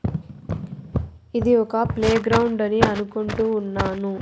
ఇది ఒక ప్లేగ్రౌండ్ అని అనుకుంటూ ఉన్నాను.